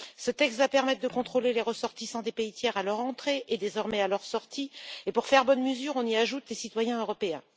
Ce texte va permettre de contrôler les ressortissants des pays tiers à leur entrée et, désormais, à leur sortie et, pour faire bonne mesure, on y ajoute les citoyens européens.